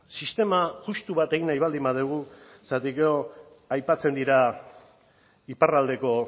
sistema justu bat egin nahi baldin badugu zergatik gero aipatzen dira iparraldeko